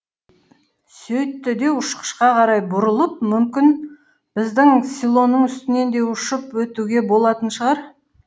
сөйтті де ұшқышқа қарай бұрылып мүмкін біздің селоның үстінен де ұшып өтуге болатын шығар